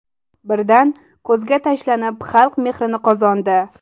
Birdan ko‘zga tashlanib, xalq mehrini qozondi.